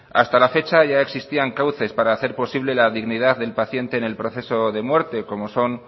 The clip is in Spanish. hasta la fecha ya existían cauces para hacer posible la dignidad del paciente en el proceso de muerte como son